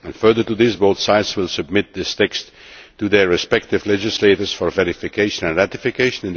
Further to this, both sides will submit this text to their respective legislators for verification and ratification.